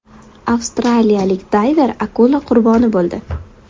Avstraliyalik dayver akula qurboni bo‘ldi.